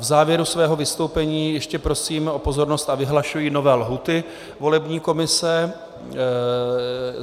V závěru svého vystoupení ještě prosím o pozornost a vyhlašuji nové lhůty volební komise.